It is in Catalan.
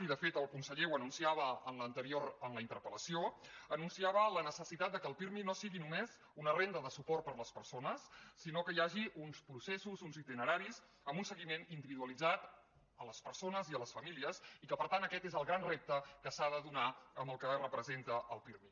i de fet el conseller ho anunciava en la interpel·va la necessitat que el pirmi no sigui només una renda de suport per a les persones sinó que hi hagi uns processos uns itineraris amb un seguiment individualitzat a les persones i a les famílies i que per tant aquest és el gran repte que s’ha de donar en el que representa el pirmi